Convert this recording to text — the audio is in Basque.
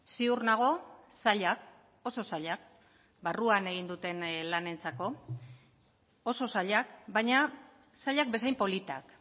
ziur nago zailak oso zailak barruan egin duten lanentzako oso zailak baina zailak bezain politak